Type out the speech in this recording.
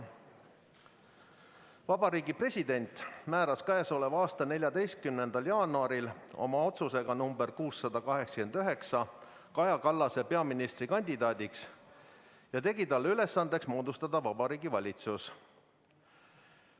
Vabariigi President määras k.a 14. jaanuaril oma otsusega nr 689 Kaja Kallase peaministrikandidaadiks ja tegi talle ülesandeks moodustada Vabariigi Valitsus.